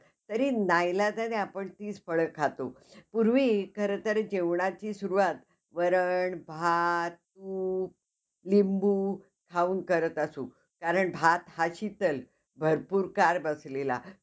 तरी नाईलाजाने आपण तीच फळं खातो. पूर्वी खरं तर जेवणाची सुरुवात वरण, भात, तूप, लिंबू खाऊन करत असू. कारण भात हा शितल भरपूर काळ बसलेला